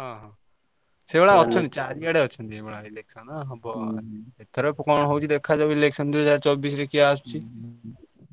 ହଁ ସେଇଭଳିଆ ଅଛନ୍ତି ଚାରିଆଡେ ଅଛନ୍ତି ଏଇଭଳିଆ election ହବ ଏଥରକ କଣ ହଉଛି ଦେଖାଯାଉ election ଦୁଇହଜାର ଚବିଶି ରେ କିଏ ଆସୁଚି